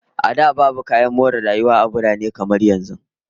A da, babu kayan more rayuwa a birane kamar yanzu